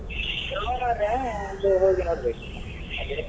ಸೋಮವಾರ ಒಂದು ಹೋಗಿ ನೋಡ್ಬೇಕು.